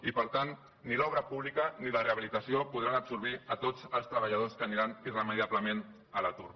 i per tant ni l’obra pública ni la rehabilitació podran absorbir tots els treballadors que aniran irremeiablement a l’atur